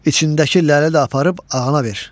İçindəki ləli də aparıb ağana ver.